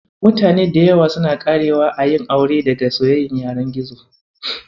Mutane da yawa suna ƙarewa a yin aure daga soyayyar yanar gizo.